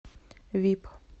вип